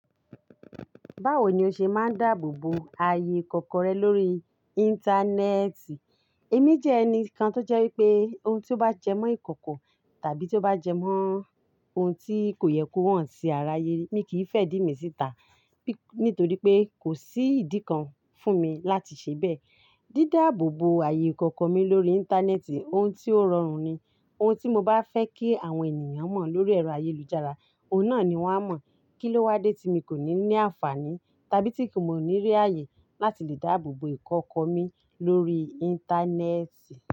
Báwo ni o ṣe máa ń dáàbò bo ayé ìkọ̀kọ̀ rẹ lórí Íńtánẹ́ẹ̀tì? Èmi jẹ́ ẹni kan tó jẹ́ wípé ohun tí ó bá jẹ mọ́ ìkọ̀kọ̀ tàbí tí ó bá jẹ mọ́ ohun tí kò yẹ kó hàn sí àrà yé, mi kì í fẹ́ dìmi síta nítorí pé kò sí ìdí kan fún mi láti ṣe bẹ́ẹ̀. Dídáàbò bo ayé ìkọ̀kọ̀ mi lórí Íńtánẹ́ẹ̀tì, ohun tí ó rọrùn ni. Ohun tí mo bá fẹ́ kí àwọn ènìyàn mọ̀ lórí ẹ̀rọ ayélujára, òun náà ni wọ́n á mọ̀. Kí ló wá dé tí mi kò ní ní àǹfààní tàbí tí kí nì mọ̀ ní rí ààyè láti lè dáàbò bo ìkọ̀kọ̀ mi lórí Íńtánẹ́ẹ̀tì?